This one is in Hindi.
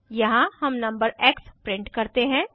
यहाँ हम नंबर एक्स प्रिंट करते हैं